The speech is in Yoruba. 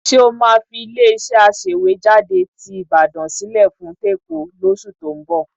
Ṣé o máa fi ilé-iṣẹ́ aṣèwéjádé ti Ìbàdàn sílẹ̀ fún tÉkòó lóṣù tó ń bọ̀?